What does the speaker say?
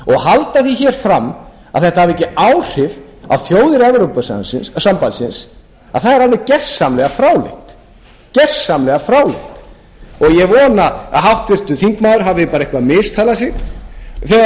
því hér fram að þetta hafi ekki áhrif á þjóðir evrópusambandsins er alveg gersamlega fráleitt og ég vona að háttvirtur þingmaður hafi eitthvað mistalað sig þegar